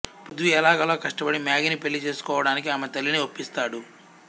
పృథ్వి ఎలాగోలా కష్టపడి మ్యాగీని పెళ్ళి చేసుకోవడానికి ఆమె తల్లిని ఒప్పిస్తాడు